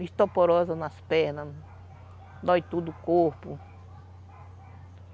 Osteoporose nas pernas, dói todo o corpo.